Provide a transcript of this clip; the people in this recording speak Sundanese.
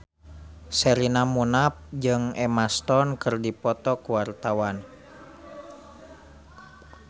Sherina Munaf jeung Emma Stone keur dipoto ku wartawan